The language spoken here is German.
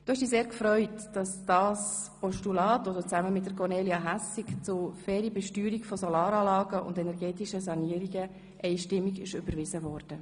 Du hast dich sehr gefreut, dass das Postulat, das du zusammen mit Kornelia Hässig zur fairen Besteuerung von Solaranlagen und energetischen Sanierungen eingegeben hast, einstimmig überwiesen wurde.